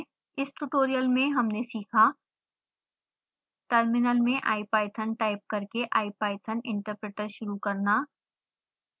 इस ट्यूटोरियल में हमने सीखा टर्मिनल में ipython टाइप करके ipython interpreter शुरू करना